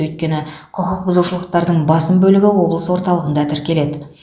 өйткені құқықбұзушылықтардың басым бөлігі облыс орталығында тіркеледі